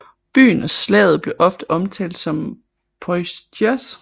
Byen og slaget blev ofte omtalt som Poictiers